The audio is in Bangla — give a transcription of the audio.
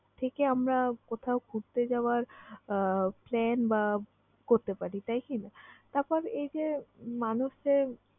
থেকে আমরা কোথাও ঘুরতে যাওয়ার আহ plan বা করতে পারি, তাই কিনা? তারপর এই যে মানুষদের